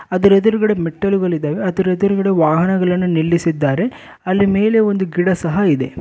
ಅದರ ಎದುರುಗಡೆ ಮೆಟ್ಟಲುಗಳು ಇದ್ದಾವೆ ಅದರ ಎದುರುಗಡೆ ವಾಹನಗಳನ್ನು ನಿಲ್ಲಿಸಿದ್ದಾರೆ ಅಲ್ಲಿ ಮೇಲೆ ಒಂದು ಗಿಡ ಸಹ ಇದೆ.